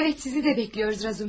Evət, sizi də bəkləyoruz, Razumihin.